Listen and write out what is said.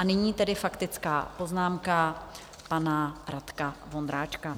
A nyní tedy faktická poznámka pana Radka Vondráčka.